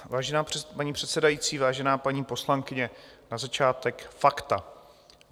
Vážená paní předsedající, vážená paní poslankyně, na začátek fakta.